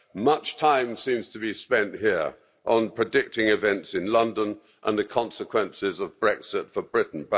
Much time seems to be spent here on predicting events in London and the consequences of Brexit for Britain.